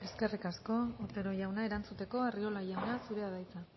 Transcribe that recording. eskerrik asko otero jauna erantzuteko arriola jauna zurea da hitza